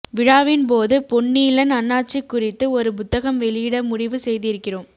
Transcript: விழாவின்போது பொன்னீலன் அண்ணாச்சி குறித்து ஒரு புத்தகம் வெளியிட முடிவு செய்திருக்கிறோம்